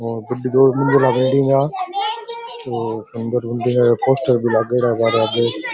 और बड़ी दो मंजिला बिल्डिंग है और पोस्टर भी लागेडा बाहर आगे --